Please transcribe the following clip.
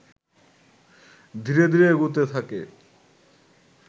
ধীরে ধীরে এগুতে থাকে